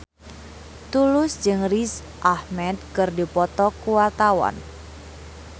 Tulus jeung Riz Ahmed keur dipoto ku wartawan